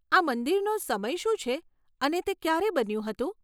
આ મંદિરનો સમય શું છે અને તે ક્યારે બન્યું હતું?